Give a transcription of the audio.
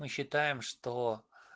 мы считаем что